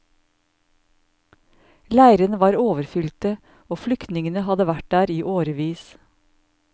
Leirene var overfylte, og flyktningene hadde vært der i årevis.